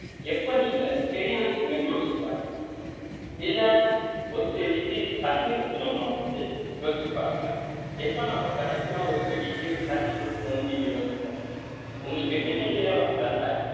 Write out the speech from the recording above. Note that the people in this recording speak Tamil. எப்ப நீங்க செடி வச்சீங்கன்னு யோசிச்சு பாருங்க இல்ல ஒரு செடிக்கு தண்ணி ஊத்துனோம்னா வந்து யோசிச்சு பாருங்க எப்ப நாம கடைசியா ஒரு செடிக்கு தண்ணி ஊத்தணும்னு நீங்க யோசிச்சு பாருங்க உங்களுக்கு நினைவிலேயே வரல இல்ல